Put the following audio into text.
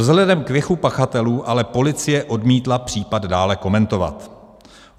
Vzhledem k věku pachatelů ale policie odmítla případ dále komentovat.